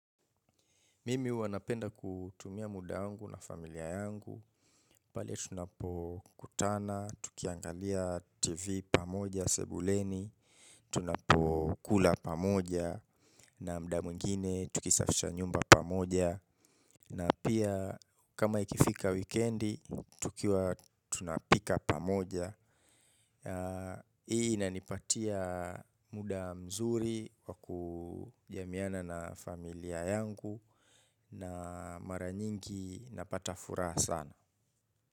Mimi huwa napenda kutumia muda wangu na familia yangu. Pale tunapokutana, tukiangalia tv pamoja sebuleni, tunapokula pamoja, na muda mwingine tukisafisha nyumba pamoja. Na pia kama ikifika wikendi, tukiwa tunapika pamoja. Hii inanipatia muda mzuri wa kujamiana na familia yangu. Na mara nyingi napata furaha sana.